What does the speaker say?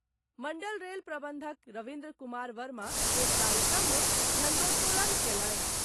मंडल rail प्रबंधक रविन्द्र कुमार वर्मा एक कार्यक्रम मे झंडोतोलन कयलनि।